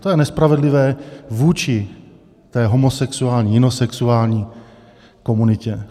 To je nespravedlivé vůči té homosexuální, jinosexuální komunitě.